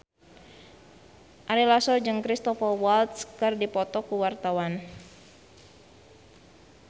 Ari Lasso jeung Cristhoper Waltz keur dipoto ku wartawan